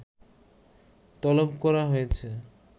তলব করা হয়েছে